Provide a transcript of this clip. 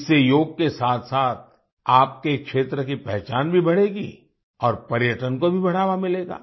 इससे योग के साथसाथ आपके क्षेत्र की पहचान भी बढ़ेगी और पर्यटन को भी बढ़ावा मिलेगा